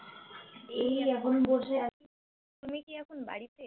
এই এখন বসে আছি তুমি কি এখন বাড়িতে?